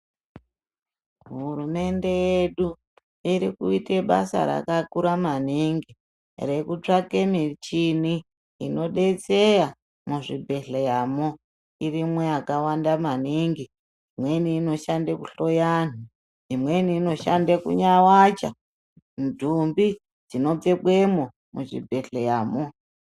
Hurumende yedu iri kuite basa rakakura maningi rekutsvake michini inodetseya muzvibhedhleyamo. Irimwo yakawanda maningi. Imweni inoshande kuhloya anhu, imweni inoshanda kunyawacha ndumbi dzinopfekwemo muchibhedhleyamo.